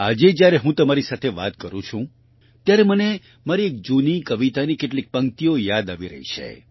આજે જ્યારે હું તમારી સાથે વાત કરું છું ત્યારે મને મારી એક જૂની કવિતાની કેટલીક પંક્તિઓ યાદ આવી રહી છે